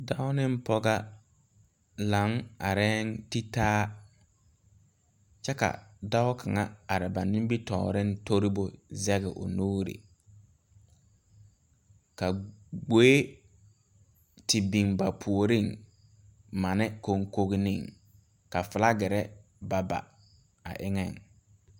Sããmo la sãã ka kõɔ gaŋ ka kyɛnserre yagre ka dɔbɔ ne pɔɔbɔ are ka dɔɔ be kõɔŋ ka pɔɔ meŋ be a kõɔŋ ka poole a ba ka teere a are.